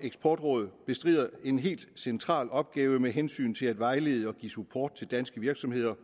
eksportråd bestrider en helt central opgave med hensyn til at vejlede og give support til danske virksomheder